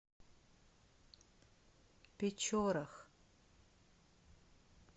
печорах